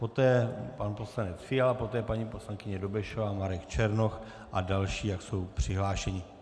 Poté pan poslanec Fiala, poté paní poslankyně Dobešová, Marek Černoch a další, jak jsou přihlášeni.